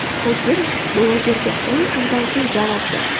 Qodirov blogerga o‘n kundan so‘ng javob berdi.